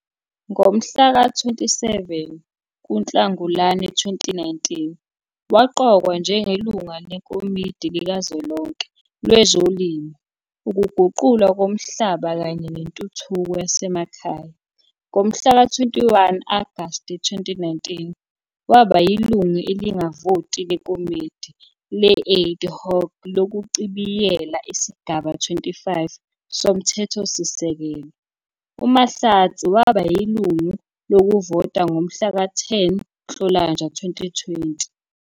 Ngomhlaka 27 kuNhlangulana 2019, waqokwa njengelungu leKomidi Likazwelonke Lwezolimo, Ukuguqulwa Komhlaba kanye Nentuthuko Yasemakhaya. Ngomhlaka 21 Agasti 2019, waba yilungu elingavoti leKomidi le-Ad Hoc lokuchibiyela iSigaba 25 soMthethosisekelo. UMahlatsi waba yilungu lokuvota ngomhlaka 10 Nhlolanja 2020.